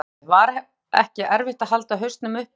Höskuldur Kári: Var ekki erfitt að halda hausnum uppi?